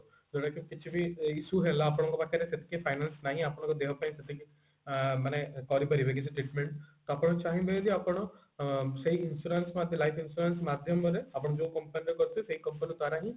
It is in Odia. କିଛିବି issue ହେଲା ଆପଣଙ୍କ ପାଖରେ ସେତିକି finance ନାହିଁ ଆପଣଙ୍କ ଦେହ ପାଇଁ ସେତିକି ଅ ଅ ମାନେ କରି ପରିବେକି ସେ treatment ତ ଆପଣ ଚାହିଁବେ ଯଦି ଆପଣ ସେଇ insurance ମାନେ life insurance ମତେ life insurance ମାଧ୍ୟମରେ ଆପଣ ଯୋଉ company ରେ କରିଥିବେ ସେଇ company ଦ୍ଵାରା ହିଁ